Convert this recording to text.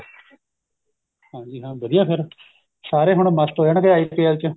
ਹਾਂਜੀ ਹਾਂ ਵਧੀਆ ਫੇਰ ਸਾਰੇ ਹੁਣ ਮਸਤ ਰਹਿਣਗੇ IPL ਚ